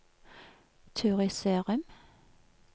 Turid Sørum